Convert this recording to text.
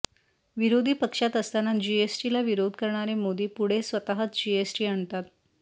विरोधी पक्षात असताना जीएसटीला विरोध करणारे मोदी पुढे स्वतःच जीएसटी आणतात